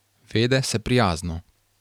Vede se prijazno.